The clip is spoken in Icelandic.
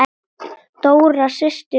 Dóra systir og börn.